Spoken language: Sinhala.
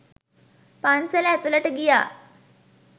පන්සල ඇතුළට ගියා.